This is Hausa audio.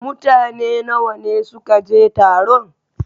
Mutane nawa ne suka je taron?